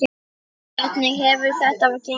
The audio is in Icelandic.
Hvernig hefur þetta gengið?